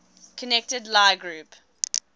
connected lie group